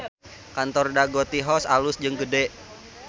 Kantor Dago Tea House alus jeung gede